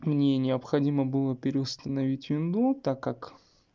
мне необходимо было переустановить винду так как